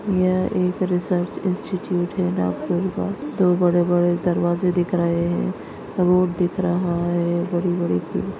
यह एक research institute है नागपूर का दो बड़े-बड़े दरवाजे दिख रहे है रोड दिख रहा है बड़ी-बड़ी--